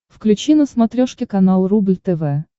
включи на смотрешке канал рубль тв